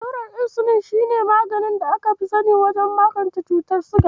Allurar Insulin shi ne maganin da aka fi sani wajen magance cutar siga.